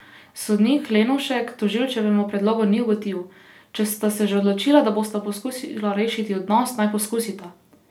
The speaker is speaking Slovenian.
Sodnik Lenovšek tožilčevemu predlogu ni ugodil: 'Če sta se že odločila, da bosta poskusila rešiti odnos, naj poskusita.